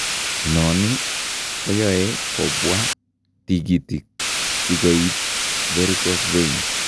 Inoni koyoe kobwaa tigitik sikoib varicose veins